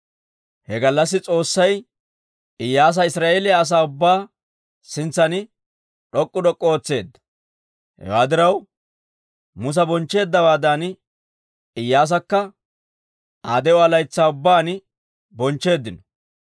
He gallassi S'oossay Iyyaasa Israa'eeliyaa asaa ubbaa sintsan d'ok'k'u d'ok'k'u ootseedda. Hewaa diraw Musa bonchcheeddawaadan Iyyaasakka Aa de'uwaa laytsaa ubbaan bonchcheeddino.